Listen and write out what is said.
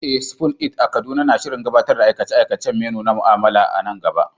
Eh, Spoon It a Kaduna na shirin gabatar da aikace-aikacen menu na mu'amala a nan gaba.